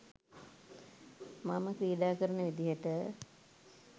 මම ක්‍රීඩා කරන විදිහට.